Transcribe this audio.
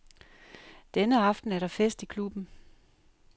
Denne aften er der fest i klubben.